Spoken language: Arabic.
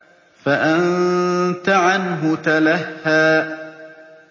فَأَنتَ عَنْهُ تَلَهَّىٰ